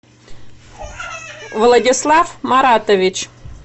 владислав маратович